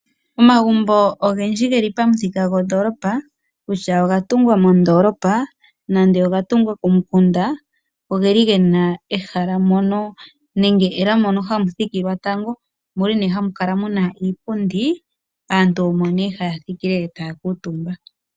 Omagumbo ogendji geli pamuthika gondoolopa, kutya ogatumbwa mondoolopa nande ogatungwa komukunda, ogeli gena ehala mono nenge ela mono hamu thikilwa tango, omuli ne hamu kala muna iipundi, aantu omo ne haya thikile taya kuutumba.